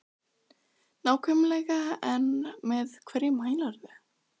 Hersir Aron Ólafsson: Nákvæmlega en með hverju mælirðu?